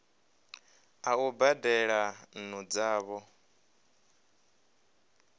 a u badela nnu dzavho